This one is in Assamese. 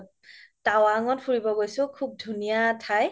টাৱাং ত ফুৰিব গৈছো খুব ধুনীয়া ঠাই